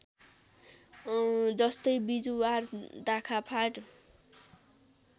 जस्तै बिजुवार दाखा फाँट